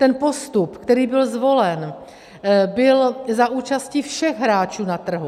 Ten postup, který byl zvolen, byl za účasti všech hráčů na trhu.